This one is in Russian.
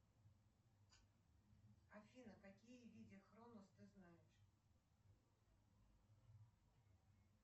афина какие видеохронос ты знаешь